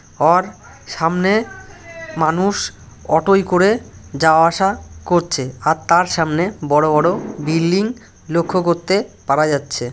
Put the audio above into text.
Or সামনে মানুষ auto করে যাওয়া আসা করছে আর তার সামনে বড়ো বড়ো বিল্ডিং লক্ষ্য করতে পারা যাচ্ছে।